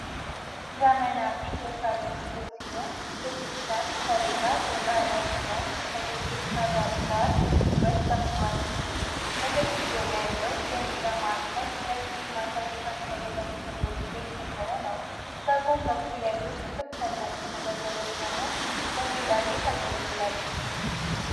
ዘመናዊ የሳሎን ክፍል ሲሆን የጂፕሰም ሰሌዳ የጣሪያ ዲዛይን ከ ድብቅ መብራት ጋር ውበትን ጨምሯል። በግድግዳው ላይ ያለው የሚዲያ ማዕከል ለቲቪ ማሳያ የታሰበ በተፈጥሮ ድንጋይ የተሸፈነ ነው። በጎን በኩል ያሉት ክፈፍ ያላቸው መደርደሪያዎች ደግሞ ለጌጣጌጥ ያገለግላሉ።